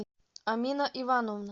амина ивановна